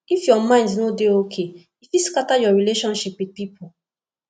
if your mind no dey okay e fit scatter your relationship wit pipo